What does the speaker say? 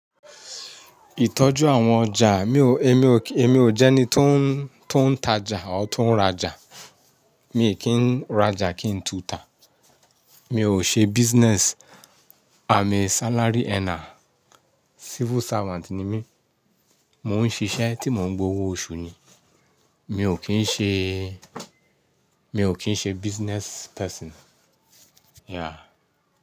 Ìtọ́jú àwọn ọjà, mi ò, èmi ò, èmi ò jẹ́ ẹni tó ń, tó ń ta ja or tó ń ra ja. Mi n kí ń ra ja kí ń tú ta. Mi ò ṣe business. I'm a salary earner. Civil servant ni mí. Mo ń ṣiṣẹ́ tí mo ń gbowó oṣù ni. Mi ò kí ń ṣe, mi ò kí ń ṣe business person. Yeah.